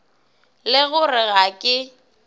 le go re ga ke